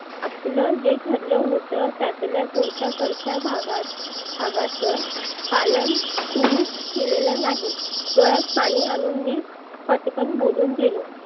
आपल जे ठरलं होतं त्यातल्या तुमच्याकडच्या भागा भागाच पालन तुम्ही केलेल नाही. डोळ्यात पाणि आनुन मी फटकन बोलून गेलो.